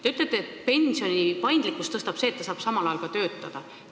Te ütlete, et pensionisüsteemi paindlikkust suurendab see, et pensioni saades saab samal ajal ka töötada.